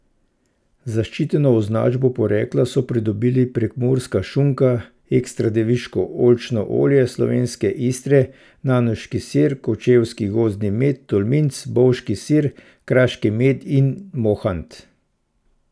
Zaščiteno označbo porekla so pridobili prekmurska šunka, ekstra deviško oljčno olje Slovenske Istre, nanoški sir, kočevski gozdni med, tolminc, bovški sir, kraški med in mohant.